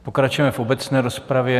Pokračujeme v obecné rozpravě.